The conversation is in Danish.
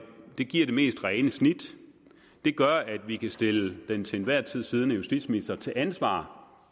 giver det mest rene snit det gør at vi kan stille den til enhver tid siddende justitsminister til ansvar